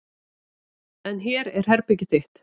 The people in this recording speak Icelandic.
En hér er herbergið þitt.